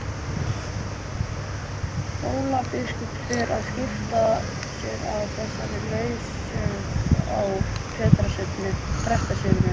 Hólabiskup fer að skipta sér af þessari lausung á prestssetrinu.